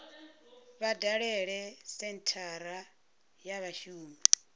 vha dalele senthara ya vhashumi